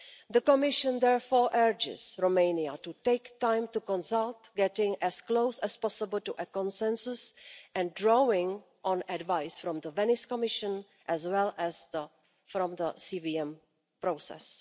The Commission therefore urges Romania to take time to consult, getting as close as possible to a consensus and drawing on advice from the Venice Commission as well as from the CVM process.